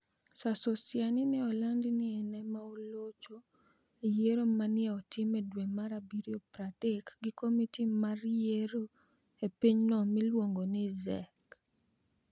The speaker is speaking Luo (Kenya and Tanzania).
Sir Sosionii ni e olanid nii eni ema olocho e yiero ma ni e otim dwe mar abiryo 30 gi komiti mar yiero e piny no miluonigo nii ZEC.